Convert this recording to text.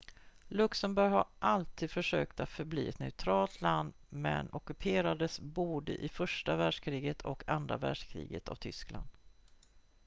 luxemburg har alltid försökt att förbli ett neutralt land men ockuperades både i första världskriget och andra världskriget av tyskland